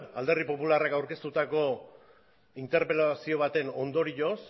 alderdi popularrak aurkeztutako interpelazio baten ondorioz